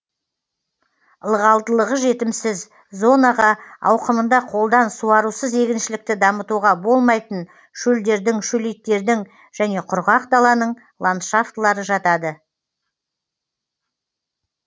ылғалдылығы жетімсіз зонаға ауқымында қолдан суарусыз егіншілікті дамытуға болмайтын шөлдердің шөлейттердің және құрғақ даланың ландшафтылары жатады